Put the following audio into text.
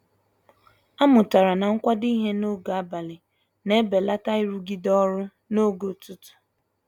A mụtara na -kwado ịhe n'oge abalị na-ebelata irugide ọrụ n'oge ụtụtụ.